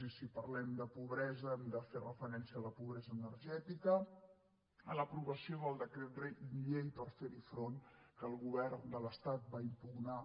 i si parlem de pobresa hem de fer referència a la pobresa energètica a l’aprovació del decret llei per fer hi front que el govern de l’estat va impugnar